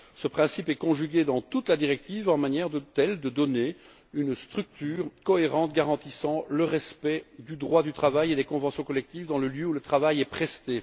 Ce principe est décliné dans toute la directive de manière à donner une structure cohérente garantissant le respect du droit du travail et des conventions collectives dans le lieu où le travail est effectué.